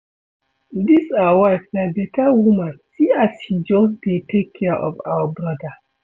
Dis our wife na beta woman see as she just dey take care of our broda